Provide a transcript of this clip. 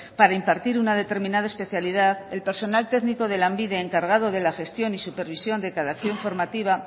para impartir una determinada especialidad el personal técnico de lanbide encargado de la gestión y supervisión de cada acción formativa